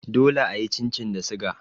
Dole a yi chin chin da suga.